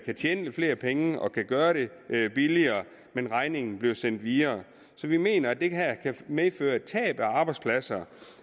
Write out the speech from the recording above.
tjene lidt flere penge og kan gøre det billigere men regningen bliver sendt videre så vi mener at det her kan medføre et tab af arbejdspladser